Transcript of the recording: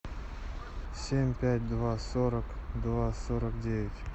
семь пять два сорок два сорок девять